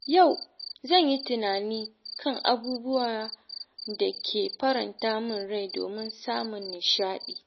Yau, zan yi tunani kan abubuwan da ke faranta min rai domin samun nishaɗi.